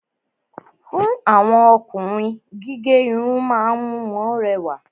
Fún àwọn Ọkùnrin, gígé Irun ma ń mú wọn rẹwà